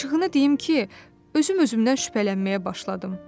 Açığını deyim ki, özüm özümdən şübhələnməyə başladım.